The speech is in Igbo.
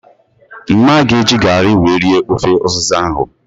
Mma ga eji garị wee rie ofe ụzịza ahụ